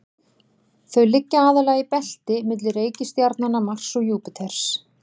Þau liggja aðallega í belti milli reikistjarnanna Mars og Júpíters.